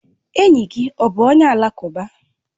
Enyi gị ọ bụ onye alakụba?